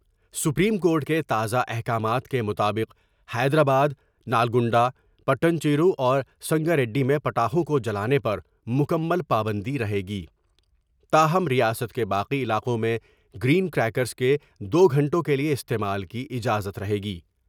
Supreme court کے تازہ احکامات کے مطابق حیدرآباد ، نالگنڈا ، پیٹن چیرو اور سنگاریڈی میں پٹاخوں کو جلانے پر مکمل پابندی رہے گی ، تاہم ریاست کے باقی علاقوں میں گر ین کر یکرس کے دو گھنٹوں کیلئے استعمال کی اجازت رہے گی ۔